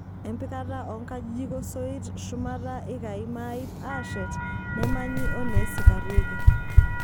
Empikata oo nkajijik osoit shumata ikai maaip aashet neemanyi oneesikarreki.